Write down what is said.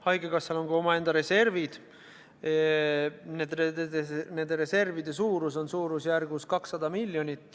Haigekassal on ka omaenda reservid, mille suurus on umbes 200 miljonit.